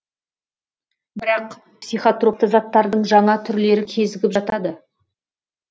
бірақ психотропты заттардың жаңа түрлері кезігіп жатады